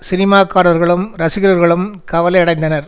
சினிமாக்காரர்களும் ரசிகர்களும் கவலையடைந்தனர்